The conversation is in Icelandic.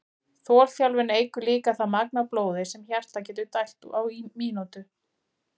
Þolþjálfun eykur líka það magn af blóði sem hjartað getur dælt á mínútu.